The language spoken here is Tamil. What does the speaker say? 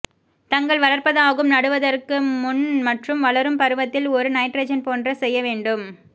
தங்கள் வளர்ப்பதாகும் நடுவதற்கு முன் மற்றும் வளரும் பருவத்தில் ஒரு நைட்ரஜன் போன்ற செய்ய வேண்டும்